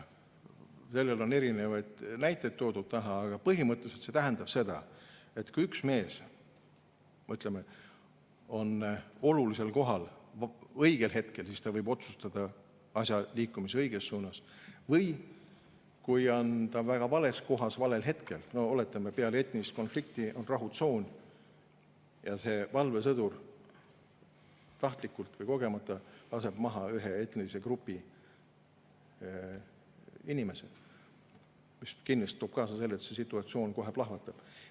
Sellele on erinevaid näiteid taha toodud, aga põhimõtteliselt see tähendab seda, et kui üks mees on õigel kohal õigel hetkel, siis ta võib otsustada asja liikumise õiges suunas, aga kui ta on väga vales kohas valel hetkel, näiteks oletame, et peale etnilist konflikti rahutsoonis valvesõdur tahtlikult või kogemata laseb maha mingisse etnilisse gruppi kuuluva inimese, siis ta kindlasti toob kaasa selle, et situatsioon kohe plahvatab.